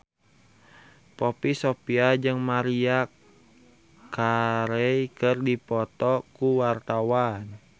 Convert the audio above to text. Poppy Sovia jeung Maria Carey keur dipoto ku wartawan